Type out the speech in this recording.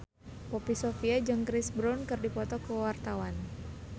Poppy Sovia jeung Chris Brown keur dipoto ku wartawan